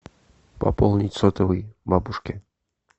пополнить сотовый бабушке